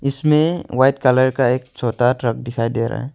इसमें white colour का एक छोटा ट्रक दिखाई दे रहा है।